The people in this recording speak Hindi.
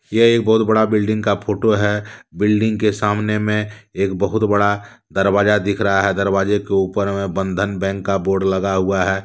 यह एक बहुत बड़ा बिल्डिंग का फोटो है बिल्डिंग के सामने में एक बहुत बड़ा दरवाजा दिख रहा हैंदरवाजे के ऊपर में बंधन बैंक का बोर्ड लगा हुआ हैं।